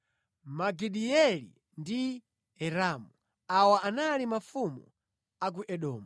Magidieli ndi Iramu. Awa anali mafumu a ku Edomu.